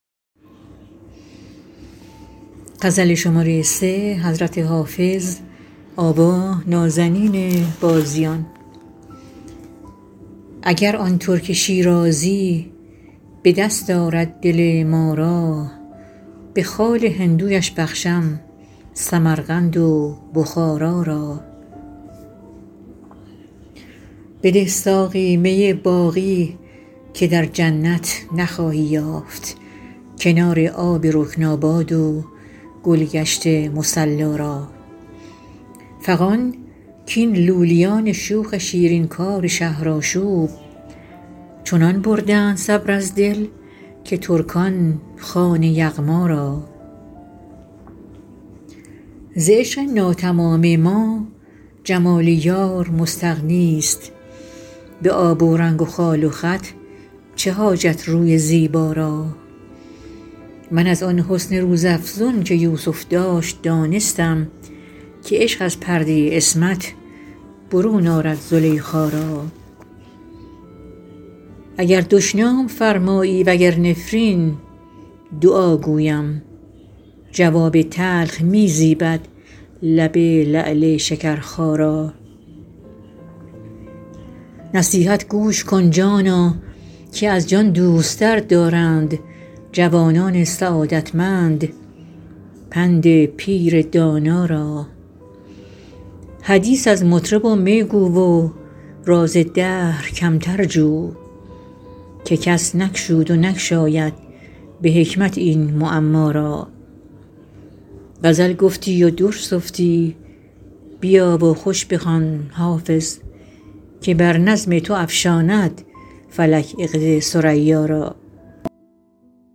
اگر آن ترک شیرازی به دست آرد دل ما را به خال هندویش بخشم سمرقند و بخارا را بده ساقی می باقی که در جنت نخواهی یافت کنار آب رکناباد و گل گشت مصلا را فغان کاین لولیان شوخ شیرین کار شهرآشوب چنان بردند صبر از دل که ترکان خوان یغما را ز عشق ناتمام ما جمال یار مستغنی است به آب و رنگ و خال و خط چه حاجت روی زیبا را من از آن حسن روزافزون که یوسف داشت دانستم که عشق از پرده عصمت برون آرد زلیخا را اگر دشنام فرمایی و گر نفرین دعا گویم جواب تلخ می زیبد لب لعل شکرخا را نصیحت گوش کن جانا که از جان دوست تر دارند جوانان سعادتمند پند پیر دانا را حدیث از مطرب و می گو و راز دهر کمتر جو که کس نگشود و نگشاید به حکمت این معما را غزل گفتی و در سفتی بیا و خوش بخوان حافظ که بر نظم تو افشاند فلک عقد ثریا را